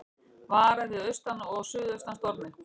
Varað við austan og suðaustan stormi